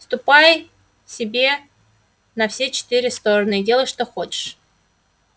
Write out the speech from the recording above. ступай себе на все четыре стороны и делай что хочешь